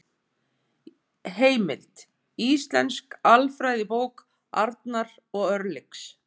Heimild: Íslensk alfræðibók Arnar og Örlygs.